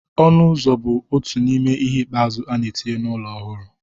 Ọnụ ụzọ bụ otu n'ime ihe ikpeazụ a na-etinye n'ụlọ ọhụrụ